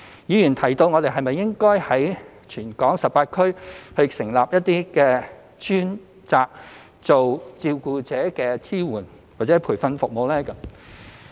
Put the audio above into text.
議員提到是否應該在全港18區成立一些專責照顧者支援或培訓服務的中心。